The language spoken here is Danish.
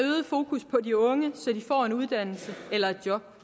fokus på de unge så de får en uddannelse eller et job